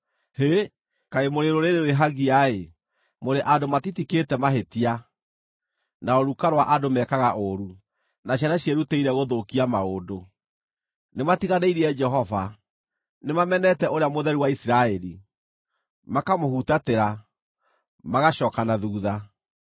Hĩ! Kaĩ mũrĩ rũrĩrĩ rwĩhagia-ĩ. Mũrĩ andũ matitikĩte mahĩtia, na rũruka rwa andũ mekaga ũũru, na ciana ciĩrutĩire gũthũkia maũndũ! Nĩmatiganĩirie Jehova; nĩmamenete Ũrĩa Mũtheru wa Isiraeli, makamũhutatĩra, magacooka na thuutha.